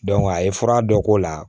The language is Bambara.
a ye fura dɔ k'o la